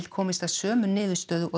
komist að sömu niðurstöðu og